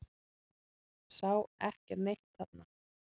Sá ekki neitt þarna.